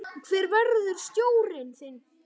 Hver verður stjórinn þinn?